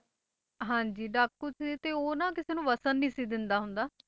ਹਾਂਜੀ ਡਾਕੂ ਸੀ ਤੇ ਉਹ ਨਾ ਕਿਸੇ ਨੂੰ ਵਸਣ ਨੀ ਸੀ ਦਿੰਦਾ ਹੁੰਦਾ।